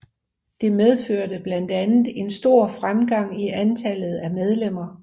Det medførte blandt andet en stor fremgang i antallet af medlemmer